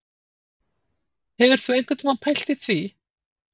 Hefurðu einhvern tíma pælt í því